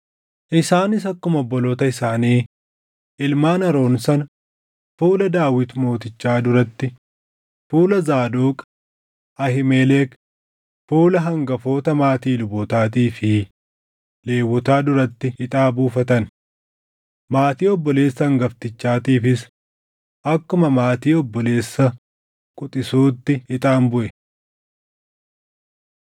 Isaanis akkuma obboloota isaanii ilmaan Aroon sana fuula Daawit Mootichaa duratti, fuula Zaadoq, Ahiimelek, fuula hangafoota maatii lubootaatii fi Lewwotaa duratti ixaa buufatan. Maatii obboleessa hangaftichaatiifis akkuma maatii obboleessa quxisuutti ixaan buʼe.